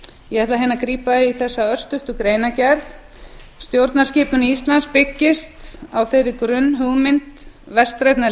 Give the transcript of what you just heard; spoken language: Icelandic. ég ætla hérna að grípa í þessa örstuttu greinargerð stjórnskipun íslands byggist á þeirri grunnhugmynd vestrænna